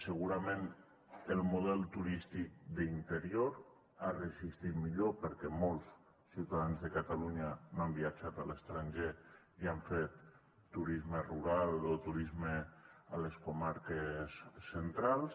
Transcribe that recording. segurament el model turístic d’interior ha resistit millor perquè molts ciutadans de catalunya no han viatjat a l’estranger i han fet turisme rural o turisme a les comarques centrals